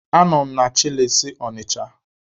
Anọ m na chịlịs Ọnịcha.